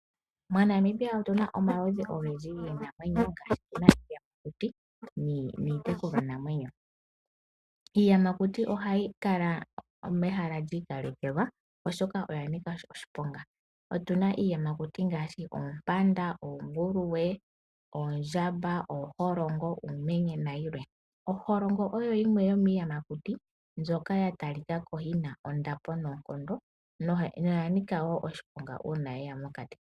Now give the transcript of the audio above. MoNamibia otuna mo omaludhi ogendji giinamwenyo iiyamakuti niitekulwanamwenyo. Iiyamakuti ohayi kala mehala lyiikalekelwa oshoka oya nika oshiponga, otuna iiyamakuti ngaashi oompanda, oonguluwe, oondjamba, ooholongo, uumenye nayilwe. Oholongo oyo yimwe yomiiyamakuti mbyoka yatalika ko yina ondapo noonkondo noya nika woo oshiponga uuna yeya mokati.